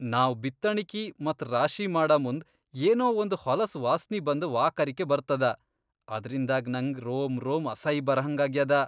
ನಾವ್ ಬಿತ್ತಣಕಿ ಮತ್ ರಾಶಿ ಮಾಡಮುಂದ್ ಏನೊ ಒಂದ್ ಹೊಲಸ್ ವಾಸ್ನಿ ಬಂದ ವಾಕರಕಿ ಬರ್ತದ, ಅದ್ರಿಂದಾಗ್ ನಂಗ್ ರೋಮ್ ರೋಮ್ ಅಸೈ ಬರಹಂಗಾಗ್ಯಾದ.